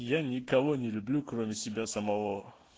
я никого не люблю кроме себя самого